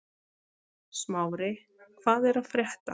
Smári, hvað er að frétta?